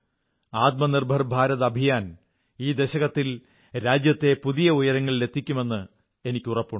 ആത്മനിർഭർ ഭാരത് അഭിയാൻ ഈ ദശകത്തിൽ രാജ്യത്തെ പുതിയ ഉയരങ്ങളിലെത്തിക്കുമെന്ന് എനിക്കുറപ്പുണ്ട്